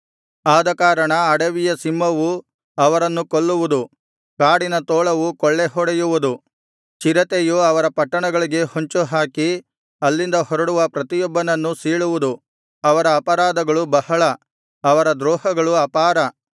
ಆದಕಾರಣ ಅಡವಿಯ ಸಿಂಹವು ಅವರನ್ನು ಕೊಲ್ಲುವುದು ಕಾಡಿನ ತೋಳವು ಕೊಳ್ಳೆ ಹೊಡೆಯುವುದು ಚಿರತೆಯು ಅವರ ಪಟ್ಟಣಗಳಿಗೆ ಹೊಂಚುಹಾಕಿ ಅಲ್ಲಿಂದ ಹೊರಡುವ ಪ್ರತಿಯೊಬ್ಬನನ್ನೂ ಸೀಳುವುದು ಅವರ ಅಪರಾಧಗಳು ಬಹಳ ಅವರ ದ್ರೋಹಗಳು ಅಪಾರ